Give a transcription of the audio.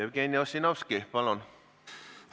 Jevgeni Ossinovski, palun!